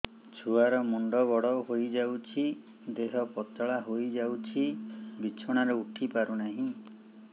ଛୁଆ ର ମୁଣ୍ଡ ବଡ ହୋଇଯାଉଛି ଦେହ ପତଳା ହୋଇଯାଉଛି ବିଛଣାରୁ ଉଠି ପାରୁନାହିଁ